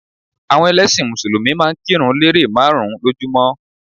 Àwọn ẹlẹ́sìn mùsùlùmí máa n kírun lérè máàrún lójúmó